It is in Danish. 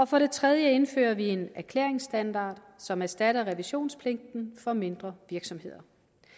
for det tredje indfører vi en erklæringsstandard som erstatter revisionspligten for mindre virksomheder